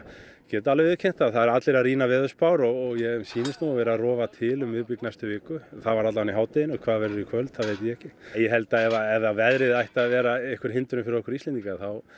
get alveg viðurkennt það að eru allir að rýna veðurspár og mér sýnist nú vera að rofa til um miðbik næstu viku það var allavega í hádeginu hvað verður í kvöld það veit ég ekki ég held að ef að veðrið ætti að vera einhver hindrun fyrir okkur Íslendinga þá